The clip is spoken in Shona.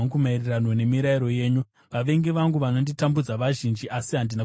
Vavengi vangu navanonditambudza vazhinji, asi handina kutsauka pane zvamakatema.